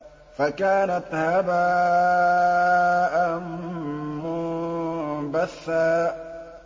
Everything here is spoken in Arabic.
فَكَانَتْ هَبَاءً مُّنبَثًّا